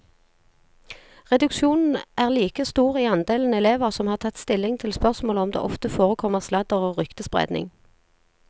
Reduksjonen er like stor i andelen elever som har tatt stilling til spørsmålet om det ofte forekommer sladder og ryktespredning.